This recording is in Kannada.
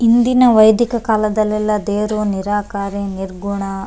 ಇಂದಿನ ವೈದಿಕ ಕಾಲದಲ್ಲೆಲ್ಲ ದೇವ್ರು ನೀರಾಕರಿ ನಿರ್ಗುಣ --